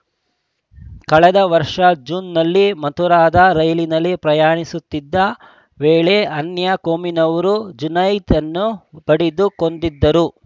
ಕಳೆದ ವರ್ಷ ಜೂನ್‌ನಲ್ಲಿ ಮಥುರಾದ ರೈಲಿನಲ್ಲಿ ಪ್ರಯಾಣಿಸುತ್ತಿದ್ದ ವೇಳೆ ಅನ್ಯ ಕೋಮಿನವರು ಜುನೈದ್‌ನನ್ನು ಬಡಿದು ಕೊಂದಿದ್ದರು